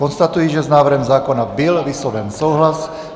Konstatuji, že s návrhem zákona byl vysloven souhlas.